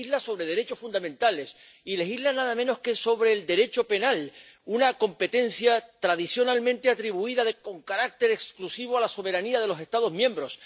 legisla sobre derechos fundamentales y legisla nada menos que sobre el Derecho penal, una competencia tradicionalmente atribuida con carácter exclusivo a la soberanía de los Estados miembros.